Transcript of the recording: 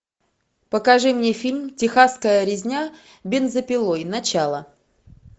покажи мне фильм техасская резня бензопилой начало